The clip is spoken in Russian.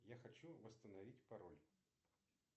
я хочу восстановить пароль